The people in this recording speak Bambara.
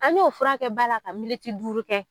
An ɲo furakɛ ba la ka militi duuru kɛ.